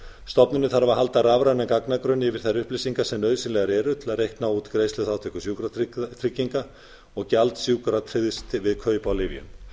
stofnunin þarf að halda rafræna gagnagrunna yfir þær upplýsingar sem nauðsynlegar eru til að reikna út greiðsluþátttöku sjúkratrygginga og gjald sjúkratryggða við kaup á lyfjum